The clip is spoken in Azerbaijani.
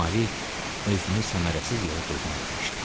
Mari özünü səmərəsiz yerə qurban vermişdi.